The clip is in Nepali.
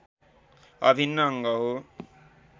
अभिन्न अङ्ग हो